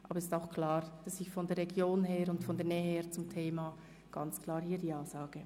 Aber es ist klar, dass ich hier aus regionalen Gründen sowie aufgrund meiner Nähe zum Thema Ja sage.